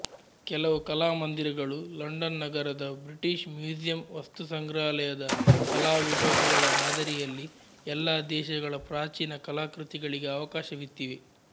ಕೆಲವು ಕಲಾಮಂದಿರಗಳು ಲಂಡನ್ ನಗರದ ಬ್ರಿಟಿಷ್ ಮ್ಯೂಸಿಯಂ ವಸ್ತುಸಂಗ್ರಹಾಲಯದ ಕಲಾವಿಭಾಗಗಳ ಮಾದರಿಯಲ್ಲಿ ಎಲ್ಲ ದೇಶಗಳ ಪ್ರಾಚೀನ ಕಲಾಕೃತಿಗಳಿಗೆ ಅವಕಾಶವಿತ್ತಿವೆ